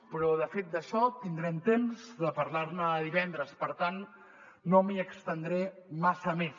però de fet d’això tindrem temps de parlar ne divendres per tant no m’hi estendré massa més